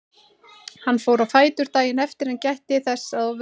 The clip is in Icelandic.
Hann fór á fætur daginn eftir en gætti þess að ofreyna sig ekki.